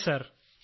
അതെ സർ